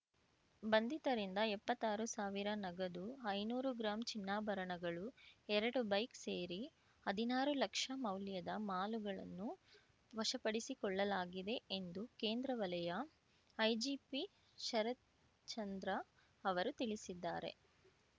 ಬಂಧಿತರಿಂದ ಎಪ್ಪತ್ತಾರು ಸಾವಿರ ನಗದು ಐನೂರು ಗ್ರಾಂ ಚಿನ್ನಾಭರಣಗಳು ಎರಡು ಬೈಕ್ ಸೇರಿ ಹದಿನಾರು ಲಕ್ಷ ಮೌಲ್ಯದ ಮಾಲುಗಳನ್ನು ವಶಪಡಿಸಿಕೊಳ್ಳಲಾಗಿದೆ ಎಂದು ಕೇಂದ್ರ ವಲಯ ಐಜಿಪಿ ಶರತ್ಚಂದ್ರ ಅವರು ತಿಳಿಸಿದ್ದಾರೆ